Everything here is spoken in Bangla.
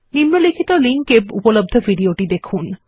নিম্নলিখিত লিঙ্ক এ উপলব্ধ ভিডিওটি দেখুন